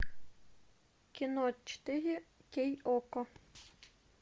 кино четыре кей окко